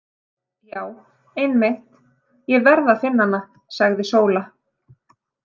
Já einmitt, ég verð að finna hana, sagði Sóla.